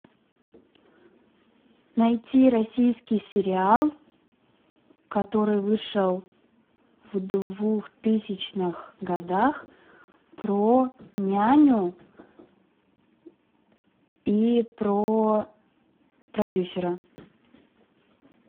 найти российский сериал который вышел в двухтысячных годах про няню и про продюсера